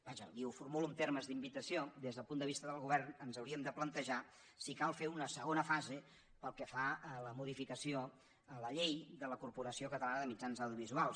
vaja li ho formulo en termes d’invitació des del punt de vista del govern ens hauríem de plantejar si cal fer una segona fase pel que fa a la modificació de la llei de la corporació catalana de mitjans audiovisuals